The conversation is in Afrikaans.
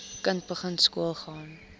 kind begin skoolgaan